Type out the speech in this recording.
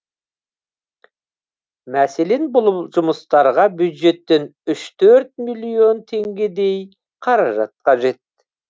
мәселен бұлм жұмыстарға бюджеттен үш төрт миллион теңгедей қаражат қажет